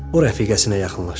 O rəfiqəsinə yaxınlaşdı.